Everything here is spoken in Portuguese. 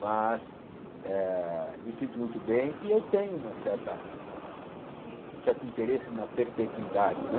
Mas eh me sinto muito bem e eu tenho uma certa um certo interesse na perpetuidade, né?